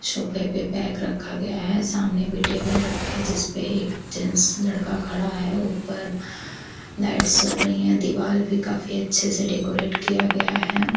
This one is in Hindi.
सोफे पे बेग रखा गया है। सामने भी टेबल रखा है जिसपे एक जेन्स लड़का खड़ा है ऊपर लाइट्स जल रही है दीवाल भी काफी अच्छे से डेकोरेट किया गया है।